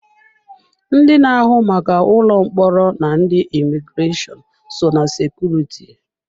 Ndị na-ahụ maka ụlọ mkpọrọ na ndị imigreshọnụ, so ná sekuriti.